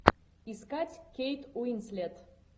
искать кейт уинслет